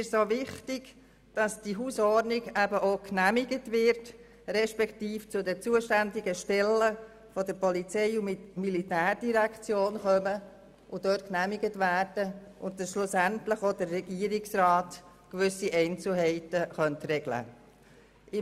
Uns ist zudem wichtig, dass die Hausordnung auch genehmigt wird respektive zu den zuständigen Stellen der Polizei- und Militärdirektion gelangt und dort genehmigt wird, sodass schlussendlich auch der Regierungsrat gewisse Einzelheiten regeln könnte.